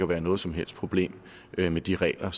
være noget som helst problem med de regler